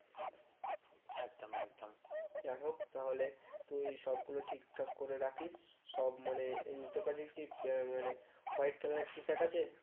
একদম একদম যাইহোক তাহলে তুই সবগুলো ঠিকঠাক করে রাখিস সব মানে তোর কাছে কি আহ মানে white color এর T shirt আছে?